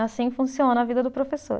Assim funciona a vida do professor.